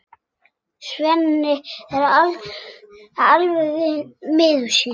Svenni er alveg miður sín.